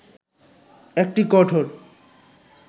একটি কঠোর